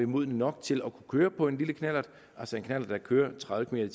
modne nok til at køre på en lille knallert altså en knallert der kører tredive